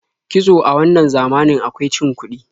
Kitso a wannan zamanin akwai cin kuɗi.